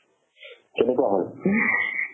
কেনেকুৱা হ'ল